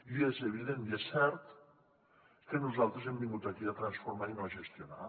i és evident i és cert que nosaltres hem vingut aquí a transformar i no a gestionar